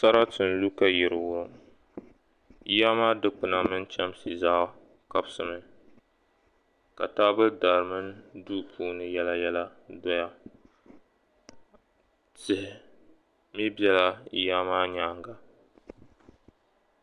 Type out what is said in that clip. Sarati n niŋ ka yili wurim, yili maa dikpiya mini taha zaa wurim mi, ka taabo dari mini duu puuni nɛma doya, tihi bela ya maa nyaaŋga.